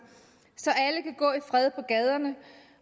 så alle kan gå i fred på gaderne